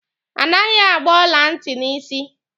A naghị agba ọla ntị n'isi.